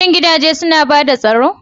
Shin gidaje suna ba da tsaro?